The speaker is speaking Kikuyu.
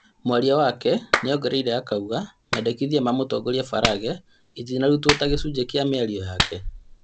Mwaria wake nĩongereire akauga, mendekithia ma mũtongoria Farage itinarutuo ta gĩcunjĩ kĩa mĩario yake.